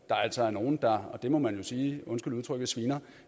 der altså er nogle der og det må man jo sige undskyld udtrykket sviner